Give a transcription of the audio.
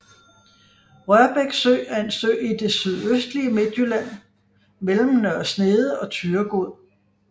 Rørbæk Sø er en sø i det sydøstlige Midtjylland mellem Nørre Snede og Thyregod